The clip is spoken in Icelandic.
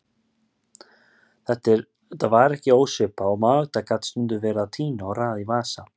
Þetta var ekki ósvipað og Magda gat stundum verið að tína og raða í vasa.